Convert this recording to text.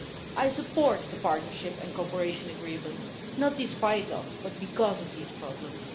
I support the Partnership and Cooperation Agreement, not in spite of, but because of these problems.